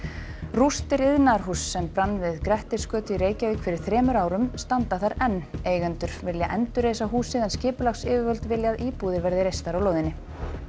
rústir iðnaðarhúss sem brann við Grettisgötu í Reykjavík fyrir rúmum þremur árum standa þar enn eigendur vilja endurreisa húsið en skipulagsyfirvöld vilja að íbúðir verði reistar á lóðinni